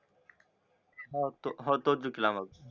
होतो तो हो तोच जिंकला मग